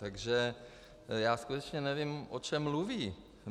Takže já skutečně nevím, o čem mluví.